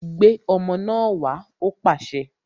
Gbé ọmọ náà wá! Ó pàṣẹ